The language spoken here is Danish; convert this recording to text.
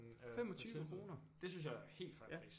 25 kroner det synes jeg er helt fair pris